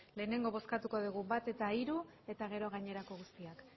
lehenengo bozkatuko degu bat eta hiru eta gero gainerako guztiak